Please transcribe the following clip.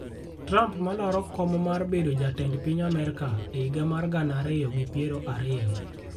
Trump malaro kom mar bedo jatend piny Amerka e higa mar gana ariyo gi piero ariyo